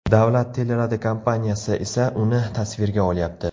Davlat teleradiokompaniyasi esa uni tasvirga olyapti.